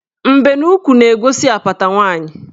Mbenuukwu na-egosi apata nwaanyị.